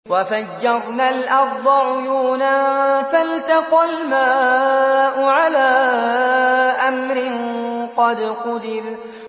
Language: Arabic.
وَفَجَّرْنَا الْأَرْضَ عُيُونًا فَالْتَقَى الْمَاءُ عَلَىٰ أَمْرٍ قَدْ قُدِرَ